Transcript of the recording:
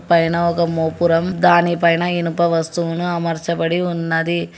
పైన ఒక మోపురం దానిపైన ఇనుప వస్తువును అమర్చబడి ఉన్నది.